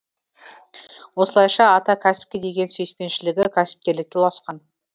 осылайша ата кәсіпке деген сүйіспеншілігі кәсіпкерлікке ұласқан